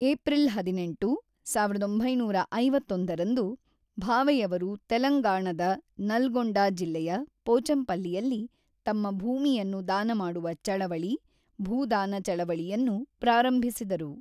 April ಹದಿನೆಂಟು, ಸಾವಿರದ ಒಂಬೈನೂರ ಐವತ್ತೊಂದು ರಂದು ಭಾವೆಯವರು ತೆಲಂಗಾಣದ ನಲ್ಗೊಂಡ ಜಿಲ್ಲೆಯ ಪೋಚಂಪಲ್ಲಿಯಲ್ಲಿ, ತಮ್ಮ ಭೂಮಿಯನ್ನು ದಾನಮಾಡುವ ಚಳವಳಿ, ಭೂದಾನ ಚಳವಳಿಯನ್ನು ಪ್ರಾರಂಭಿಸಿದರು.